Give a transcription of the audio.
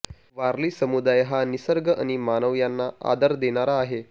वारली समुदाय हा निसर्ग आणि मानव यांना आदर देणारा आहे